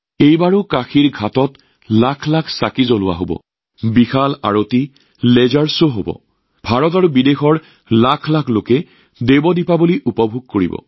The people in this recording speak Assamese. এইবাৰো কাশীৰ ঘাটত লাখ লাখ লেম্প জ্বলোৱা হব এটা ভব্য আৰতি হব লেজাৰ শ্ব হব ভাৰত আৰু বিদেশৰ লাখ লাখ লোকে দেৱ দীপাৱলী উপভোগ কৰিব